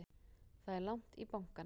Það er langt í bankann!